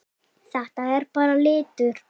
Þetta er bara litur.